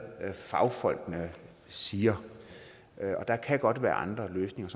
fagfolkene siger og der kan godt være andre løsninger